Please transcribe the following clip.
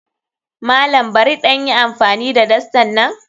Malam barin ɗan yi amfani da dastan nan?